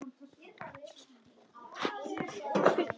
Hér er einnig svarað spurningu Rósu Kristjánsdóttur um sama efni.